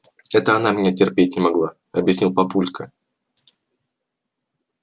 это она меня терпеть не могла объяснил папулька